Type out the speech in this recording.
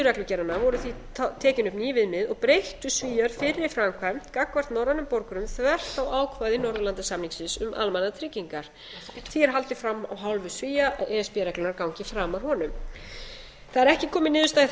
reglugerðarinnar voru því tekin upp ný viðmið og breyttu svíar fyrri framkvæmd gagnvart norrænum borgurum þvert á ákvæði norðurlandasamningsins um almannatryggingar því er haldið fram af hálfu svía að e s b reglurnar gangi framar honum það er ekki komin niðurstaða í